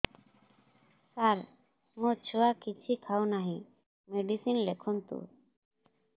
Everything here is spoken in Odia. ସାର ମୋ ଛୁଆ କିଛି ଖାଉ ନାହିଁ ମେଡିସିନ ଲେଖନ୍ତୁ